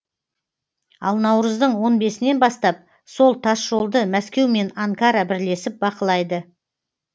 ал наурыздың он бесінен бастап сол тасжолды мәскеу мен анкара бірлесіп бақылайды